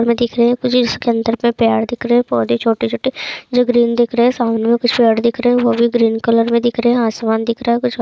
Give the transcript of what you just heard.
दिख रही हैं मुझे इसके अंदर मे प्यार दिख रही हैं पौधे छोटे-छोटे जो ग्रीन दिख रहे हैं मुझे कुछ फ्लैट दिख रहे हैं आसमान दिख रहा हैं कुछ बा--